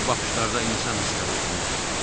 Bu baxışlarda insan hissləri oxunurdu.